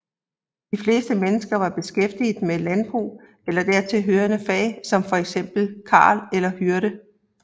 De fleste mennesker var beskæftiget med landbrug eller dertil hørende fag som for eksempel karl eller hyrde